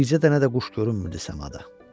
Bircə dənə də quş görünmürdü səmada.